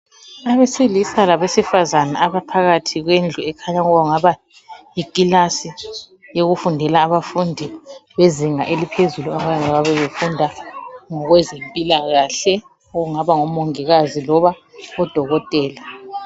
Abesilisa labesifazana abaphakathi kwendlu ekhanya kungaba yikhilasi yokufundela abafundi bezinga eliphezulu. Abangabe befunda ngokwezempilakahle ,okungaba ngomongikazi loba oDokotela.